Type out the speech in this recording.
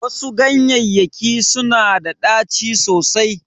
Wasu ganyeyyaki suna da ɗaci sosai.